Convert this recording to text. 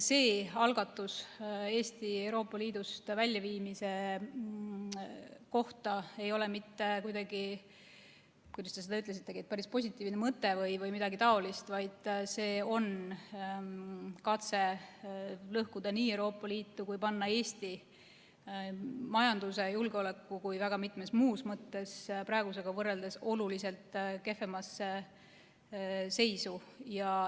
See algatus, Eesti Euroopa Liidust väljaviimine, ei ole mitte kuidagi – kuidas te seda ütlesitegi – positiivne mõte või midagi sellist, vaid see on katse lõhkuda Euroopa Liitu ja panna Eesti nii majanduse, julgeoleku kui ka väga mitmes muus mõttes praegusega võrreldes oluliselt kehvemasse seisu.